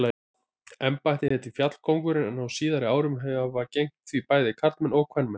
Embættið heitir fjallkóngur en á síðari árum hafa gegnt því bæði karlmenn og kvenmenn.